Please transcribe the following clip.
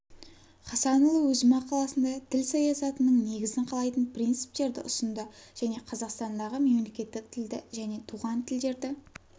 хасанұлы өз мақаласында тіл саясатының негізін қалайтын принциптерді ұсынды және қазақстандағы мемлекеттік тілді және туған тілдерді